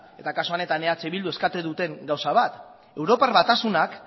eta kasu honetan eh bilduk eskatu duten gauza bat europar batasunak